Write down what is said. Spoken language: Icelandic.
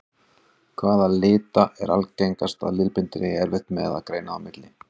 Hvaða lita er algengast að litblindir eigi erfitt með að greina á milli?